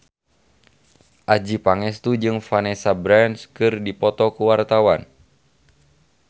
Adjie Pangestu jeung Vanessa Branch keur dipoto ku wartawan